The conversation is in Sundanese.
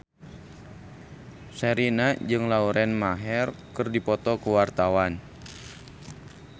Sherina jeung Lauren Maher keur dipoto ku wartawan